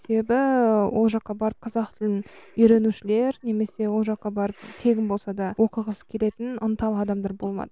себебі ол жаққа барып қазақ тілін үйренушілер немесе ол жаққа барып тегін болса да оқығысы келетін ынталы адамдар болмады